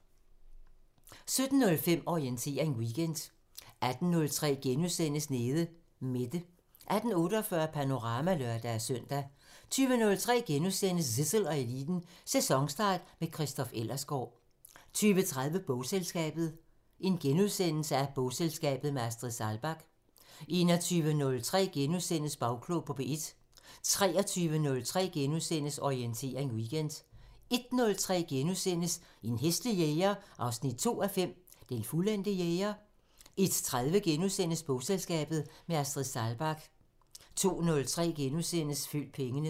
17:05: Orientering Weekend 18:03: Nede Mette * 18:48: Panorama (lør-søn) 20:03: Zissel og Eliten: Sæsonstart med Christoph Ellersgaard * 20:30: Bogselskabet – med Astrid Saalbach * 21:03: Bagklog på P1 * 23:03: Orientering Weekend * 01:03: En hæslig jæger 2:5 – Den fuldendte jæger * 01:30: Bogselskabet – med Astrid Saalbach * 02:03: Følg pengene *